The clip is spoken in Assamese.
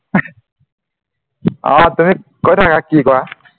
আ তুমি কৰি থাকা কি কৰা